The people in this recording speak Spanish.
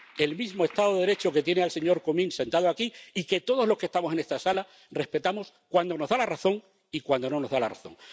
El mismo estado de Derecho que tiene al señor Comín sentado aquí y que todos los que estamos en esta sala respetamos cuando nos da la razón y cuando no nos da la razón.